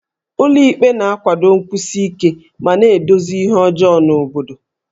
Ụlọ ikpe na-akwado nkwụsi ike ma na-edozi ihe ọjọọ n'obodo